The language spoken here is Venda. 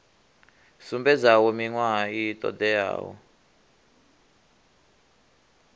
sumbedzaho miṅwaha i ṱo ḓeaho